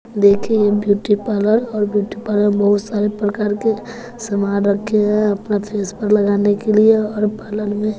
देखिए ये beauty parlour और ब्यूटी पार्लर में बहुत सारे प्रकार के सामान रखें हैं अपना फेस पर लगाने के लिए और पार्लर में--